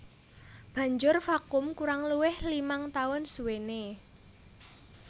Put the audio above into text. Banjur vakum kurang luwih limang taun suwené